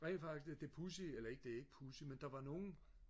rent faktisk det det pudsige eller ikke det er ikke pudsigt men der var nogen